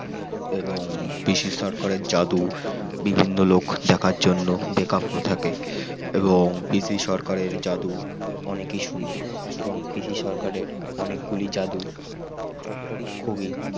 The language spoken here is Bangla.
এবং পিসি সরকারের জাদু বিভিন্ন লোক দেখার জন্য বেকাব হয়ে থাকে। এবং পিসি সরকারের জাদু। অনেকই সুন্দর এবং পিসি সরকারের অনেক গুলি যাদু খুবই